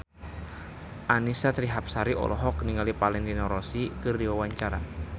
Annisa Trihapsari olohok ningali Valentino Rossi keur diwawancara